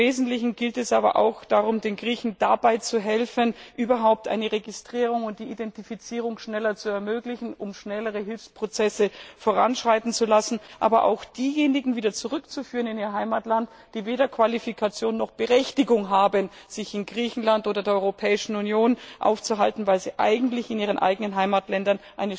Im Wesentlichen geht es aber auch darum, den Griechen dabei zu helfen, überhaupt eine Registrierung und die Identifizierung schneller zu ermöglichen, um schnellere Hilfsprozesse voranschreiten zu lassen, aber auch diejenigen wieder in ihr Heimatland zurückzuführen, die weder Qualifikation noch Berechtigung haben, sich in Griechenland oder der Europäischen Union aufzuhalten, weil sie eigentlich eine Chance hätten, in ihren eigenen Heimatländern